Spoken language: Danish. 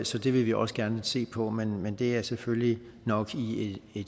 så det vil vi også gerne se på men men det er selvfølgelig nok i i